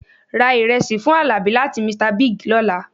Ra ìrẹsì fún àlàbí láti Mr Bigg lọ́la